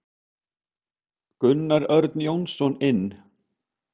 Gunnar Örn Jónsson inn.